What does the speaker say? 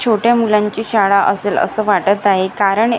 छोट्या मुलांची शाळा असेल असं वाटत आहे कारण ए--